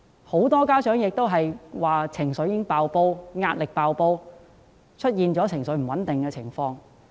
很多家長均表示情緒和壓力"爆煲"，出現情緒不穩定的情況。